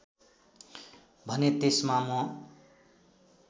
भने त्यसमा म